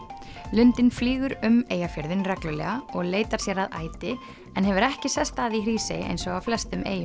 lundinn flýgur um Eyjafjörðinn reglulega og leitar sér að æti en hefur ekki sest að í Hrísey eins og á flestum eyjum